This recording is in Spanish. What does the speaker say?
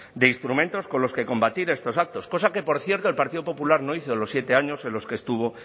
de instrumentos con los que combatir estos actos cosa que por cierto el partido popular no hizo en los siete años en los que estuvo